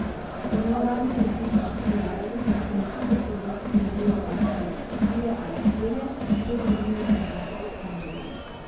Po neuradnih statističnih podatkih se na tisoč otrok rodijo takšni trije ali štirje, tej družini pa sta se kar dve.